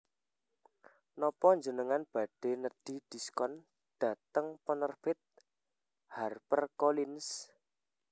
Nopo njenengan badhe nedhi diskon dateng penerbit Harper Collins?